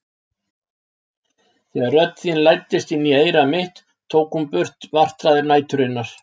Þegar rödd þín læddist inn í eyra mitt tók hún burt martraðir næturinnar.